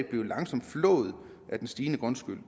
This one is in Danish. blive langsomt flået af den stigende grundskyld